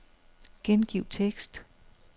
Gengiv tekst.